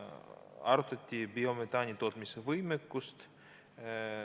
Arutati biometaani tootmise võimekust.